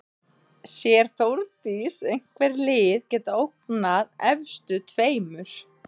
Sér Þórdís einhver lið geta ógnað efstu tveimur?